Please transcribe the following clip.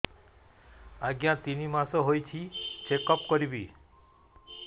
ଆଜ୍ଞା ତିନି ମାସ ହେଇଛି ଚେକ ଅପ କରିବି